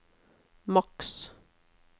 maks